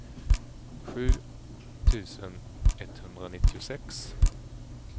sju tusen etthundranittiosex